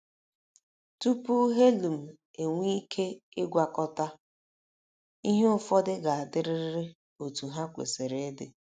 Tupu helium enwee ike ịgwakọta, ihe ụfọdụ ga - adịrịrị otú ha kwesịrị ịdị.